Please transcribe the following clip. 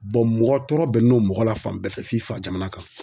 mɔgɔ tɔɔrɔ bɛnn'o mɔgɔ la fan bɛɛ fɛ f'i fajamana kan.